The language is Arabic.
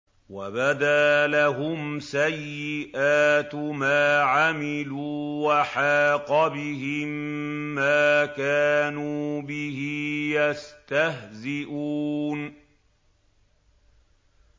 وَبَدَا لَهُمْ سَيِّئَاتُ مَا عَمِلُوا وَحَاقَ بِهِم مَّا كَانُوا بِهِ يَسْتَهْزِئُونَ